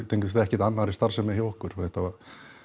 tengist ekkert annarri starfsemi hjá okkur þetta